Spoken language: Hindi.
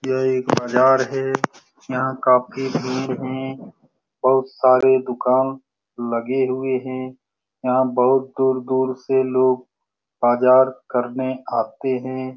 यह एक बाजार है यहाँ काफी भीड़ है बहुत सारे दूकान लगे हुए हैं यहाँ बहुत दूर-दूर से लोग बाजार करने आते हैं।